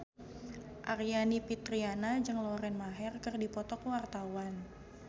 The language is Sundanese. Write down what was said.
Aryani Fitriana jeung Lauren Maher keur dipoto ku wartawan